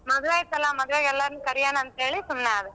ಮದ್ವೆ ಐತಲ್ಲಾ ಮದ್ವೆಗ್ ಎಲ್ಲಾರ್ನು ಕರಿಯೊಣ ಅಂತೇಳಿ ಸುಮ್ನಾದೆ.